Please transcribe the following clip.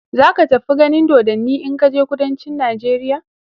zaka fi ganin dodanni in kaje kudancin nijeriya